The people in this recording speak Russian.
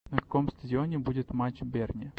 на каком стадионе будет матч берни